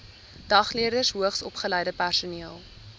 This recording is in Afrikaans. dagleerders hoogsopgeleide personeel